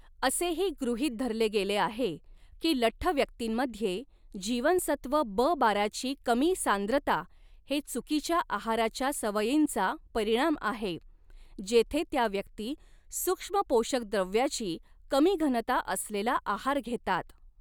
असेही गृहीत धरले गेले आहे की लठ्ठ व्यक्तींमध्ये जीवनसत्व ब बाराची कमी सांद्रता हे चुकीच्या आहाराच्या सवयींचा परिणाम आहे, जेथे त्या व्यक्ती सूक्ष्मपोषकद्रव्याची कमी घनता असलेला आहार घेतात.